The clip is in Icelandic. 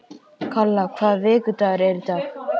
Kalla, hvaða vikudagur er í dag?